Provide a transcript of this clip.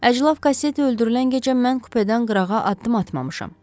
Əclaf Kasseti öldürülən gecə mən kupedən qırağa addım atmamışam.